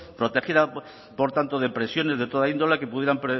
protegida por tanto de presiones de toda índole que pudieran